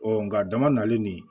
Ɔ nga dama nali nin